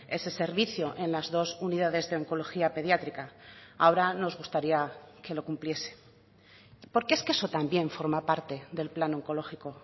ese servicio en las dos unidades de oncología pediátrica ahora nos gustaría que lo cumpliese porque es que eso también forma parte del plan oncológico